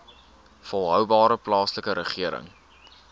volhoubare plaaslike regering